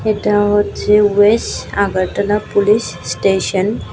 এটা হচ্ছে west Agartala police station.